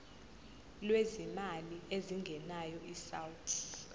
lwezimali ezingenayo isouth